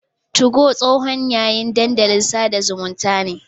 Tugo tsohon yayin dandalin sada zumunta ne.